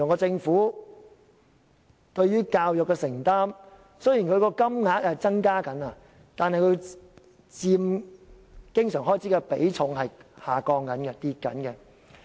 政府對於教育的承擔，雖然金額有所增加，但所佔經常開支的比重正在下降。